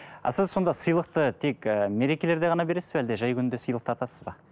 а сіз сонда сыйлықты тек і мерекелерде ғана бересіз бе әлде жай күнде сыйлық тартасыз ба